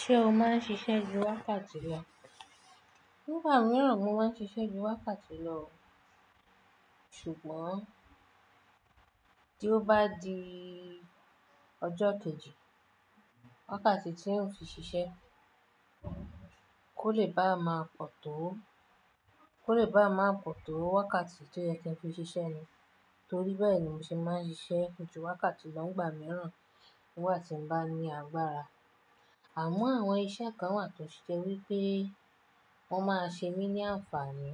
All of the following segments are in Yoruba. Ṣé o máa ń ṣiṣẹ́ ju wákàtí lọ? Nígbà mìíràn mo máa ń ṣiṣẹ́ ju wákàtí lọ. Ṣùgbọ́n tí ó bá di ọjọ́ kejì wákàtí tíi n fii ṣiṣẹ́, kò lè bá a máa pọ̀ tó, kò lè bá a máa pọ̀ tó wákàtí tó yẹ kí n fi ṣiṣẹ́ nì. Torí bẹ́ẹ̀ ni mo ṣe máa ń ṣiṣẹ́ ju wákàtí lọ nígbà mìíràn nígbà tí mo bá ní agbára. Àmọ́ àwọn iṣẹ́ kan wà tó ṣe wi pé wọ́n máa ṣe mí ní àǹfààní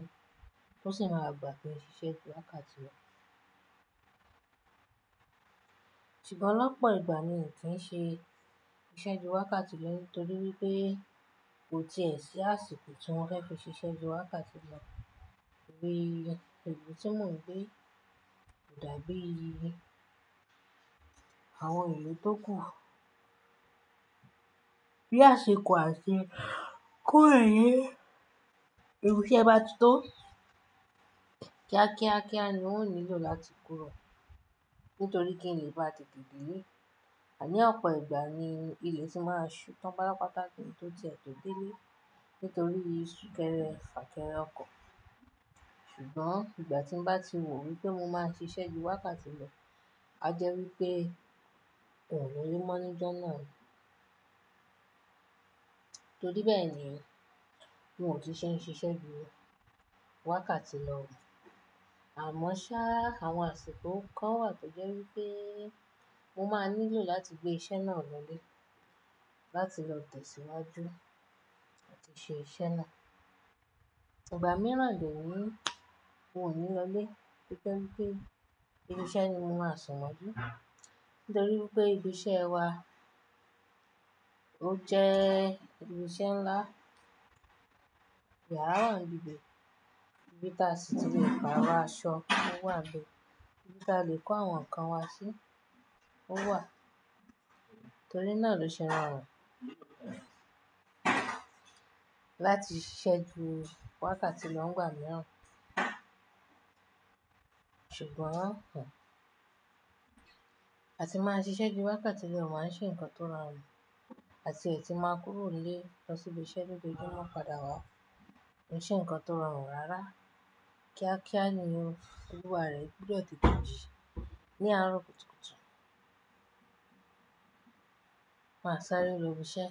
tó sì máa gbà ki n ṣiṣẹ́ ju wákàtí lọ. Ṣùgbọ́n lọ́pọ̀ ìgbà mi n kì í ṣe iṣẹ́ ju wákàtí lọ nítorí pé kò tíì e sí àsìkò tí wọ́n fẹ́ fi ṣiṣẹ́ ju wákàtí lọ. Ibi ìlú tí mo ń gbé kò dá bí i àwọn ìlú tó kuù. Bí àsìkò àti kúrò ní ibi ṣe bá ti tó, kíákíá kíá ni n ò nílò láti kúrò, nítorí kí n lè bá tètè dé ilé. Ní ọ̀pọ̀ ìgbà ni ilẹ̀ ti má ṣuu tán pátápátá kí n tó ti e tó délé, nítorí súnkẹ́rẹ́ fànkẹ́rẹ́ ọkọ̀. Ṣùgbọ́n ìgbà tí mo bá ti wò wípé mo máa ṣiṣẹ́ ju wákàtí lọ, a jẹ́ wípé n o lo le mọ́ níjọ́ náà ni. Torí bẹ́ẹ̀ ni, n ò tún ń ṣe ṣiṣẹ́ ju wákàtí lọ. Àmọ́ ṣá, àwọn àsìkò kan wà tó jẹ́ wípé mo máa nílò láti gbé iṣẹ́ náà lọlé láti lọ tẹ̀síwájú láti ṣe iṣẹ́ náà. Ìgbà mìíràn de ni yi mi ò ní lọlé nítorí pé ibi iṣẹ́ ni mo máa sún mọ́jú. Nítorí wípé ibi iṣẹ́ wa ó jẹ́ ibi iṣẹ́ ńlá. Yàrá wà ń bi ibẹ̀, ibi tí a sì tún lè pàrọ̀ aṣọ, ó wà ń bẹ̀. Ibi tá lè kó àwọn ǹkan wa sí, ó wà. Nítorí náà ló ṣe rọ run. Láti ṣiṣẹ́ ju wákàtí lọ nígbà mìíràn. Ṣùgbọ́n un, a ti máa ṣiṣẹ́ ju wákàtí lọ o máa ń ṣe nǹkan tó rọrùn. A ti e tún má kúrò nílé lọ sí bi iṣẹ́ padà wá kò ń ṣe ǹkan tó rọrùn rárá. Kíá kíá ni olúwa rẹ̀ gbúdọ̀ tètè jí ní àárọ̀ kùtùkùtù. Máa sáré lọ ibi iṣẹ́.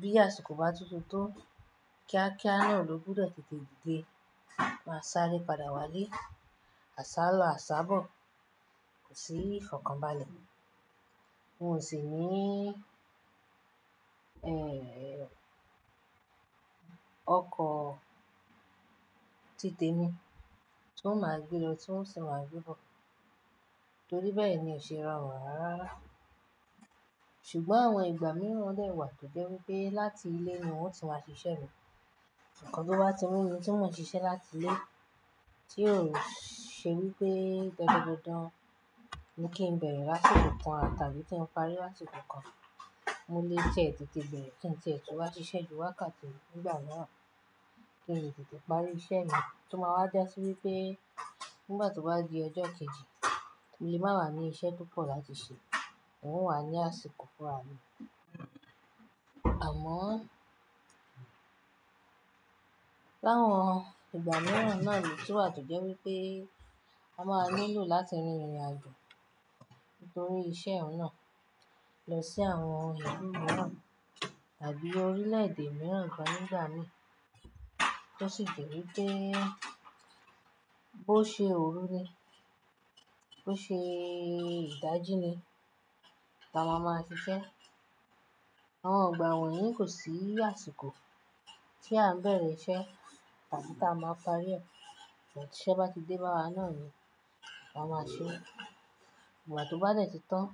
Bí àsìkò bá tún ti tó, kíákíá náà ló gbúdọ̀ tètè didé. Máa sáré padà wá ilé, àṣálọ, àsábò, kò sí ìfọ̀kànbalẹ̀. N ò sì ní, ẹ́ẹ́ ọkọ̀ tí tèmi tún n ò máa gbé lọ, tún n ò sì máa gbé bọ̀. Torí bẹ́ẹ̀ ni ò ṣe rọrùn rárárara. Ṣùgbọ́n àwọn ìgbà mìíràn ó dẹ̀ wà tó jẹ́ wípé láti ilé ni n o ti máa ṣiṣẹ́ mi. Ǹkan tó bá ti mu mi tí mò ń ṣiṣẹ́ láti ilé tí ò ṣe wípé dandan dandan ni kí n bẹ̀rẹ̀ lásìkò kan tàbí tí n parí lásìkò kan. Mo lè ti e tètè bẹ̀rẹ̀, kí n ti e tún wá ṣiṣẹ́ ju wákàtí nígbà náà, kí n lè tètè parí iṣẹ́ mi. Tó máa wá ja sí wípé nígbà tó bá di ọjọ́ kejì mo lè má wà ní iṣẹ́ pọ̀ láti ṣe, n o wà ní àsìkò fúnra mi. Àmọ́ láwọn ìgbà mìíràn náà lo tu wà tó jẹ́ wípé a máa nílò láti rin ìrìnàjò nítorí iṣẹ́ oun náà lọ sí àwọn ìlú mìíràn tàbí orílẹ̀èdè mìíràn gan nígbà mí. Tó sì jẹ́ wípé bó ṣe òru ni, bó ṣe ìdají ni, la ma máa ṣiṣẹ́. Àwọn ìgbà wọ̀nyí kò sí àsìkò tí à ń bẹ̀rẹ̀ iṣẹ́ tàbí tí a máa parí ẹ̀. Ìgbà tí iṣẹ́ bá ti dé bá wa náà ni a máa ṣe. Ìgbà tó bá dẹ̀ ti tán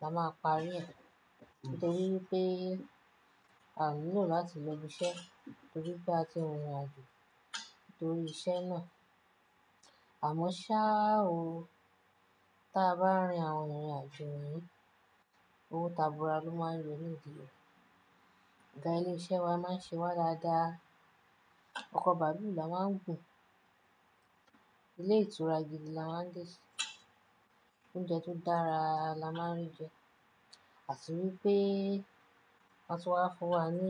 la máa parí ẹ̀. Nítorí wípé à o nílò láti lọ ibi iṣẹ́ nítorí pé a ti rin ìrìnàjò torí iṣẹ́ náà. Àmọ́ ṣá o, ta bá rin àwọn ìrìnàjò yíi, owó tabua ló máa ń yọ̀ nídi ẹ. Ee, ilé iṣẹ́ wa máa ń ṣe wá dáadáa. Ọkọ̀ bàálù la máa ń gùn. Ilé ìtura gidi la máa ń dé sí. Oúnjẹ tó dára la máa ń rí jẹ. À ti wípé, a tún wá fún wa ní.